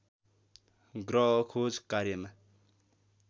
ग्रह खोज कार्यमा